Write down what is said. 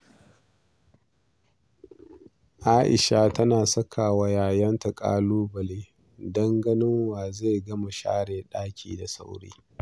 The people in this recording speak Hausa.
Aisha tana saka wa ƴaƴanta ƙalubale don ganin wa zai gama share ɗaki da sauri.